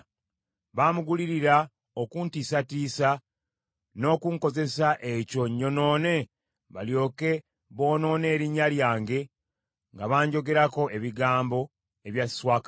Bamugulirira okuntiisatiisa n’okunkozesa ekyo nnyonoone, balyoke boonoone erinnya lyange nga banjogerako ebigambo ebya swakaba.